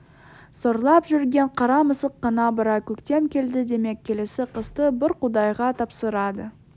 сорлап жүрген қара мысық қана бірақ көктем келді демек келесі қысты бір құдайға тапсырады